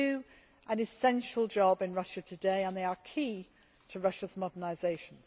They do an essential job in Russia today and they are key to Russia's modernisation.